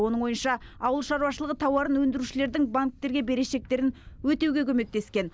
оның ойынша ауыл шаруашылығы тауарын өндірушілердің банктерге берешектерін өтеуге көмектескен